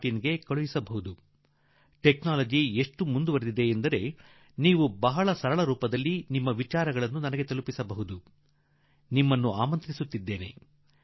IT ನಲ್ಲಿ ಕಳುಹಿಸಬಹುದಾಗಿದೆ ಮತ್ತು ನೀವು ಬಹಳ ಸುಲಭವಾಗಿ ಸಂಗತಿಗಳನ್ನು ನನ್ನವರೆಗೆ ತಲುಪಿಸಲು ತಂತ್ರಜ್ಞಾನ ವೇದಿಕೆ ಬಹಳ ಸುಲಭವಾಗಿಬಿಟ್ಟಿದೆ